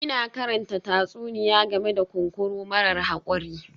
Ina karanta tatsuniya game da kunkuru marar haƙuri